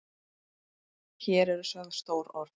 Hér eru sögð stór orð.